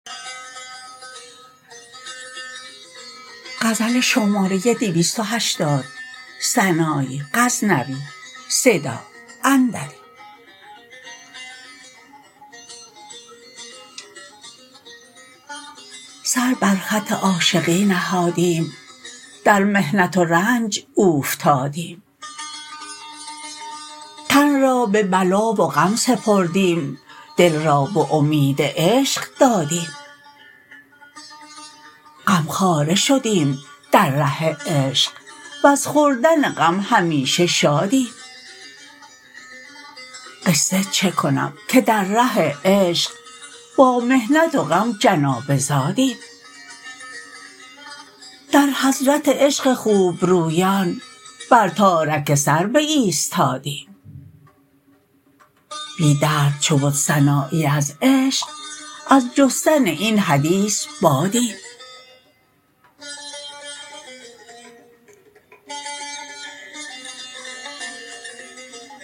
سر بر خط عاشقی نهادیم در محنت و رنج اوفتادیم تن را به بلا و غم سپردیم دل را به امید عشق دادیم غم خواره شدیم در ره عشق وز خوردن غم همیشه شادیم قصه چه کنم که در ره عشق با محنت و غم جنابه زادیم در حضرت عشق خوب رویان بر تارک سر بایستادیم بی درد چو بد سنایی از عشق از جستن این حدیث بادیم